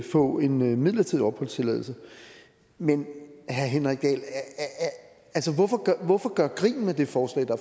få en midlertidig opholdstilladelse men herre henrik dahl hvorfor gøre grin med det forslag der